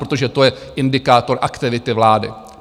Protože to je indikátor aktivity vlády.